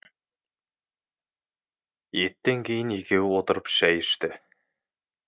еттен кейін екеуі отырып шай ішті